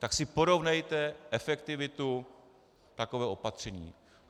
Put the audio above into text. Tak si porovnejte efektivitu takového opatření.